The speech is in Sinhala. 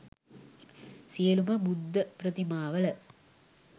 සියලුම බුද්ධප්‍රතිමාවල